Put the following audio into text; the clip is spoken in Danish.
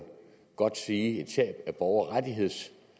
godt sige et tab af borgerrettigheder